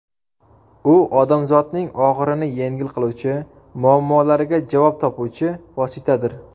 U odamzodning og‘irini yengil qiluvchi, muammolariga javob topuvchi vositadir.